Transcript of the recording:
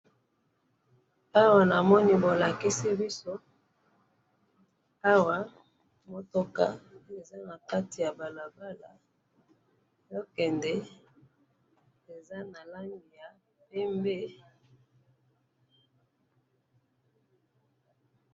Awa na moni balakisi biso mutuka eza na kati ya balabala ezo kende, eza na langi ya pembe.